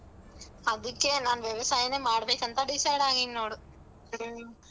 ಅದಕ್ಕೆ ನಾನ್ ವ್ಯವಸಾಯನೇ ಮಾಡ್ಬೇಕಂತ decide ಆಗಿನ್ ನೋಡ್ ಹ್ಮ್.